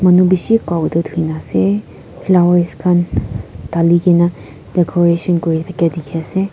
bishe prabhu te thana ase dali kena decoration kori thaka dekhi ase.